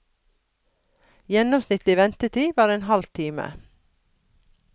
Gjennomsnittlig ventetid var en halv time.